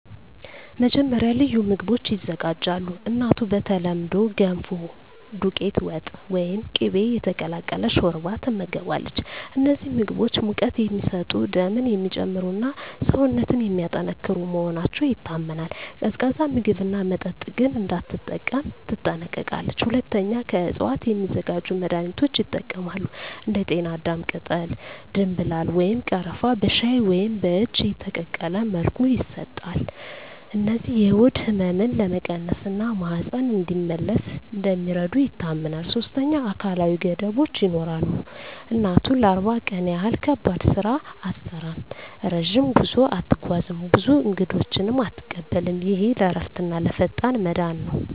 መጀመሪያ፣ ልዩ ምግቦች ይዘጋጃሉ። እናቱ በተለምዶ “ገንፎ”፣ “ዱቄት ወጥ” ወይም “ቅቤ የተቀላቀለ ሾርባ” ትመገባለች። እነዚህ ምግቦች ሙቀት የሚሰጡ፣ ደምን የሚጨምሩ እና ሰውነትን የሚያጠናክሩ መሆናቸው ይታመናል። ቀዝቃዛ ምግብና መጠጥ ግን እንዳትጠቀም ትጠነቀቃለች። ሁለተኛ፣ ከእፅዋት የሚዘጋጁ መድኃኒቶች ይጠቀማሉ። እንደ ጤናዳም ቅጠል፣ ደምብላል ወይም ቀረፋ በሻይ ወይም በእጅ የተቀቀለ መልኩ ይሰጣሉ። እነዚህ የሆድ ህመምን ለመቀነስ እና ማህፀን እንዲመለስ እንደሚረዱ ይታመናል። ሶስተኛ፣ አካላዊ ገደቦች ይኖራሉ። እናቱ ለ40 ቀን ያህል ከባድ ስራ አትሠራም፣ ረጅም ጉዞ አትጓዝም፣ ብዙ እንግዶችንም አትቀበልም። ይህ ለእረፍትና ለፈጣን መዳን ነው